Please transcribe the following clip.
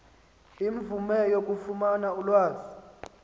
imvume yokufumana ulwazi